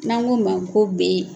N'an k'o ma ko B.